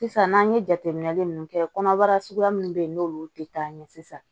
Sisan n'an ye jateminɛ ninnu kɛ kɔnɔbara suguya minnu bɛ yen n'olu tɛ taa ɲɛ sisan